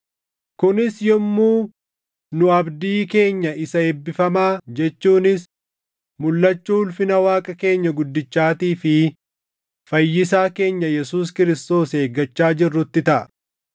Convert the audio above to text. kunis yommuu nu abdii keenya isa eebbifamaa jechuunis mulʼachuu ulfina Waaqa keenya guddichaatii fi Fayyisaa keenya Yesuus Kiristoos eeggachaa jirrutti taʼa;